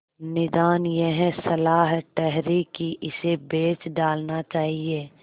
निदान यह सलाह ठहरी कि इसे बेच डालना चाहिए